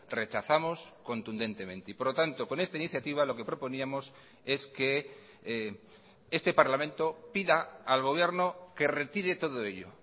rechazamos contundentemente y por lo tanto con esta iniciativa lo que proponíamos es que este parlamento pida al gobierno que retire todo ello